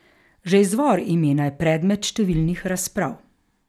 Že izvor imena je predmet številnih razprav.